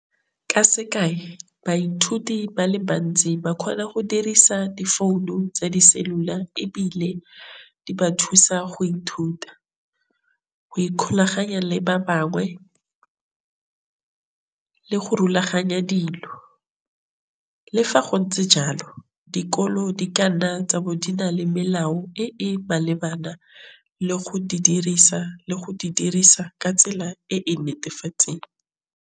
Ka sekae baithuti ba le bantsi ba kgona go dirisa difounu tsa di-cellular, ebile di ba thusa go ithuta go ikgolaganya le ba bangwe le go rulaganya dilo. Le fa go ntse jalo dikolo di ka nna tsa bo di na le melao e e malebana le go di dirisa le go di dirisa ka tsela e e netefatseng.